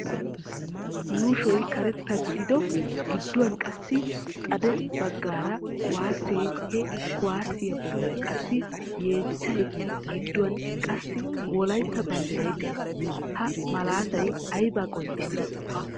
Yuushoy karetta gidido gidduwan qassi xade baggaara kuwaasse he kuwaassiya bollan qassi yeechchay gidduwan qassi wolayitta banddiray de'ees. Ha malaatay aybaa qonccissii?